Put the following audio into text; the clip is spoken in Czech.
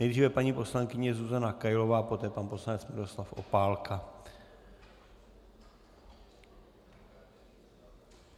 Nejdřív paní poslankyně Zuzana Kailová, poté pan poslanec Miroslav Opálka.